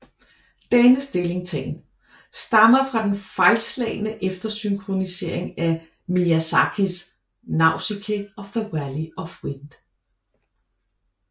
Denne stillingtagen stammer fra den fejlslagne eftersynkronisering af Miyazakis Nausicaä of the Valley of Wind